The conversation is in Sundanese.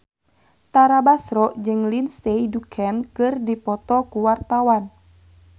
Tara Basro jeung Lindsay Ducan keur dipoto ku wartawan